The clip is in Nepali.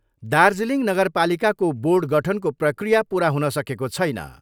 दार्जीलिङ नगरपालिकाको बोर्ड गठनको प्रक्रिया पुरा हुन सकेको छैन।